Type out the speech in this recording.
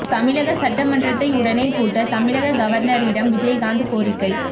தமிழக சட்ட மன்றத்தை உடனே கூட்ட தமிழக கவர்னரிடம் விஜயகாந்த் கோரிக்கை